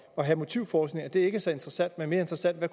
at have motivforskning er det ikke så interessant men mere interessant hvad